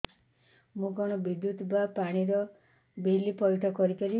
ମୁ କଣ ବିଦ୍ୟୁତ ବା ପାଣି ର ବିଲ ପଇଠ କରି ପାରିବି